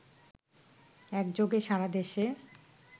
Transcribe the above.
একযোগে সারাদেশে